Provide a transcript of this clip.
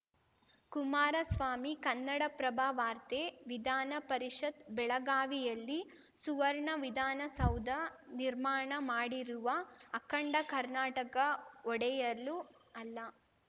ಕುಮಾರಸ್ವಾಮಿ ಕನ್ನಡಪ್ರಭ ವಾರ್ತೆ ವಿಧಾನ ಪರಿಷತ್‌ ಬೆಳಗಾವಿಯಲ್ಲಿ ಸುವರ್ಣ ವಿಧಾನಸೌಧ ನಿರ್ಮಾಣ ಮಾಡಿರುವ ಅಖಂಡ ಕರ್ನಾಟಕ ಒಡೆಯಲು ಅಲ್ಲ